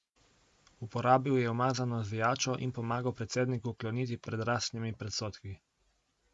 Uporabil je umazano zvijačo in pomagal predsedniku kloniti pred rasnimi predsodki.